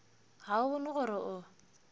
ga o bone gore o